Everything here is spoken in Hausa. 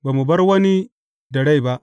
Ba mu bar wani da rai ba.